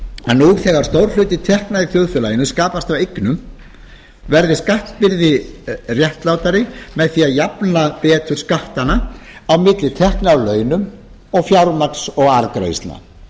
að nú þegar stór hluti tekna í þjóðfélaginu skapast af eignum verði skattbyrði réttlátari með því að jafna betur skattana á milli tekna af launum og fjármagns og arðgreiðslna frú